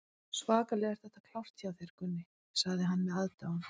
Svakalega er þetta klárt hjá þér, Gunni, sagði hann með aðdáun.